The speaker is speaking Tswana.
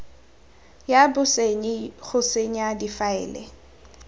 ya bosenyi go senya difaele